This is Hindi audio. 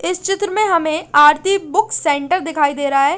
इस चित्र में हमे आरती बुक सेण्टर दिखाई देरा है।